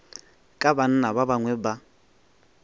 ka banna ba bangwe ba